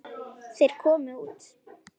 Þeir komu út.